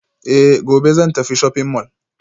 Eh gobe zan tafi shopping mall